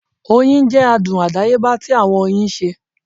Oyin jẹ adun adayeba ti awọn oyin ṣe